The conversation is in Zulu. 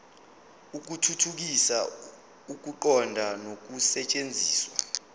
ukuthuthukisa ukuqonda nokusetshenziswa